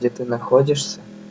где ты находишься